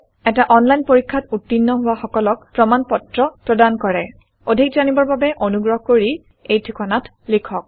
এটা অনলাইন পৰীক্ষাত উত্তীৰ্ণ হোৱা সকলক প্ৰমাণ পত্ৰ প্ৰদান কৰে অধিক জানিবৰ বাবে অনুগ্ৰহ কৰি contactspoken tutorialorg এই ঠিকনাত লিখক